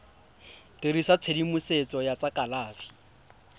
dirisa tshedimosetso ya tsa kalafi